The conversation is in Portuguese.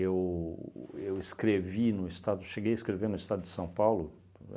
Eu eu escrevi no Estado... Cheguei a escrever no Estado de São Paulo.